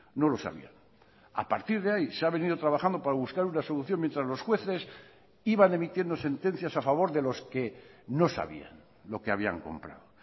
no lo sabían a partir de ahí se ha venido trabajando para buscar una solución mientras los jueces iban emitiendo sentencias a favor de los que no sabían lo que habían comprado